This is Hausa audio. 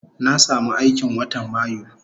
Na samu aiki watan mayu